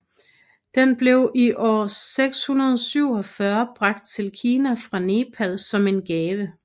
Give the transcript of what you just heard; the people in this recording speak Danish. Den blev i år 647 bragt til Kina fra Nepal som en gave